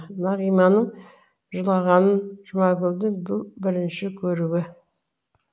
нағиманың жылағанын жұмакүлдің бұл бірінші көруі